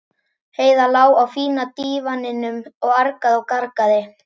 Heiða lá á fína dívaninum og argaði og gargaði.